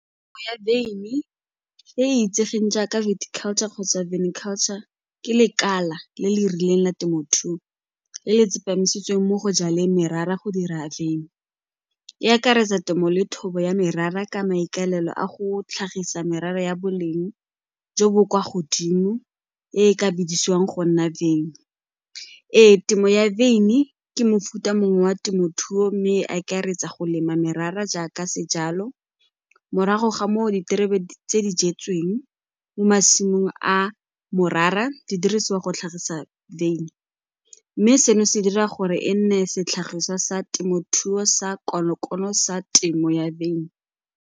ya wyn-i e e itsegeng jaaka culture kgotsa culture ke lekala le le rileng la temothuo le le tsepamisitseng mo go jaleng merara go dira wyn-i. E akaretsa temo le thobo ya merara ka maikaelelo a go tlhagisa merara ya boleng jo bo kwa godimo e e ka bidisiwang go nna wyn-i. Ee, temo ya wyn-i ke mofuta mongwe wa temothuo mme e akaretsa go lema merara jaaka sejalo, morago ga moo diterebe tse di jetsweng mo masimong a morara di dirisiwa go tlhagisa wyn-i mme seno se dira gore e nne setlhagiswa sa temothuo sa konokono sa temo ya wyn-i.